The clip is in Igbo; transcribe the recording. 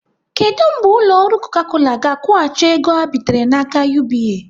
Kedụ mgbe ụlọ ọrụ Coca Cola ga-akwụghachi ego ha bitere n'aka UBA?